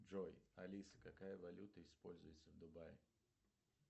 джой алиса какая валюта используется в дубае